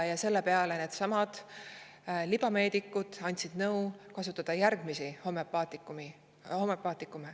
Selle peale andsid needsamad libameedikud nõu kasutada järgmisi homoöpaatikume.